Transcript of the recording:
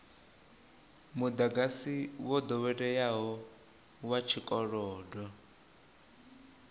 mudagasi wo doweleaho wa tshikolodo